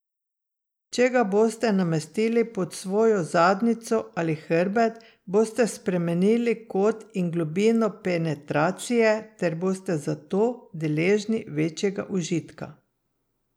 Če ga boste namestili pod svojo zadnjico ali hrbet, boste spremenili kot in globino penetracije ter boste zato deležni večjega užitka.